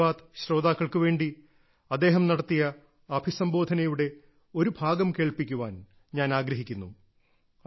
മൻ കി ബാത്ത് ശ്രോതാക്കൾക്കു വേണ്ടി അദ്ദേഹം നടത്തിയ അഭിസംബോധനയുടെ ഒരു ഭാഗം കേൾപ്പിക്കാൻ ഞാൻ ആഗ്രഹിക്കുന്നു